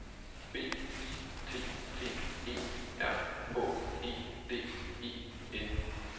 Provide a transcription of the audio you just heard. B I T T E R H E D E N